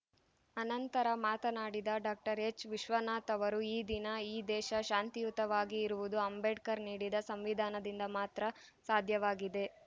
ಅನಂತರ ಮಾತನಾಡಿದ ಡಾಕ್ಟರ್ ಎಚ್‌ವಿಶ್ವನಾಥ್‌ ಅವರು ಈ ದಿನ ಈ ದೇಶ ಶಾಂತಿಯುತವಾಗಿ ಇರುವುದು ಅಂಬೇಡ್ಕರ್‌ ನೀಡಿದ ಸಂವಿಧಾನದಿಂದ ಮಾತ್ರ ಸಾಧ್ಯವಾಗಿದೆ